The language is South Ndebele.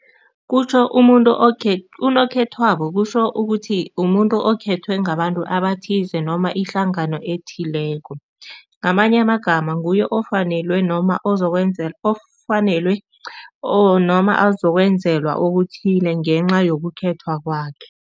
Kutjho umuntu unokhethwako kusho ukuthi umuntu okhethwe ngabantu abathize noma ihlangano ethileko. Ngamanye amagama nguye ofanelwe noma ofanelwe noma ozokwenzelwa okuthile ngenca yokukhethwa kwakhe.